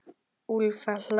Úlfur hlær.